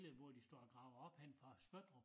Der hvor så havde gravet op henne fra Spøttrup